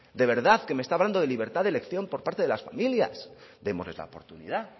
de verdad que me está hablando de libertad de elección por parte de las familias démosles la oportunidad